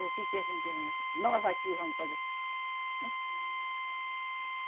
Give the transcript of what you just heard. O que que a gente nós qui vamos fazer? Hein?